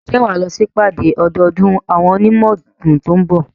Ǹjẹ́ wà á lọ sí ìpàdé ọdọọdún àwọn onímọ̀ òògùn tó ń bọ̀?